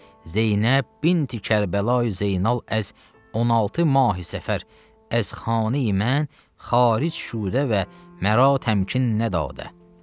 Zeynəb binti Kərbəlayı Zeynal əz 16 mahey səfər əz xaneyi mən xaric şudə və məra təmkinnə dadə.